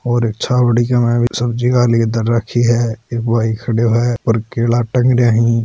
और छावड़ी सब्जी वाली धर राखी है एक भाई खड्यो है और केला टंग रहिया ही।